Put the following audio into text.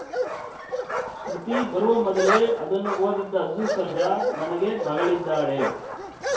ಶ್ರುತಿ ಬರುವ ಮೊದಲೇ ಅದನ್ನು ಓದಿದ್ದ ಅರ್ಜುನ್‌ ಸರ್ಜಾ ನನಗೆ ಮಗಳಿದ್ದಾಳೆ